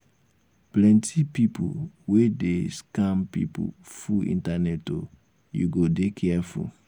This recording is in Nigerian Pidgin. plenty pipu wey dey um scam pipu full internet o you go dey careful.